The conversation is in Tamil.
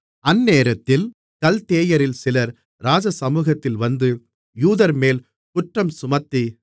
அந்நேரத்தில் கல்தேயரில் சிலர் ராஜசமுகத்தில் வந்து யூதர்மேல் குற்றம்சுமத்தி